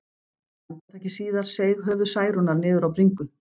Andartaki síðar seig höfuð Særúnar niður á bringu.